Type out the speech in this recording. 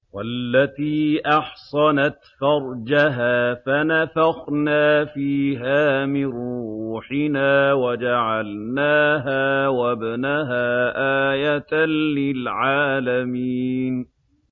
وَالَّتِي أَحْصَنَتْ فَرْجَهَا فَنَفَخْنَا فِيهَا مِن رُّوحِنَا وَجَعَلْنَاهَا وَابْنَهَا آيَةً لِّلْعَالَمِينَ